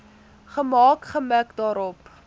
gemaak gemik daarop